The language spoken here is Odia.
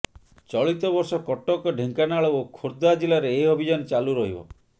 ଚଳିତ ବର୍ଷ କଟକ ଢେଙ୍କାନାଳ ଓ ଖୋର୍ଦ୍ଧା ଜିଲାରେ ଏହି ଅଭିଯାନ ଚାଲୁ ରହିବ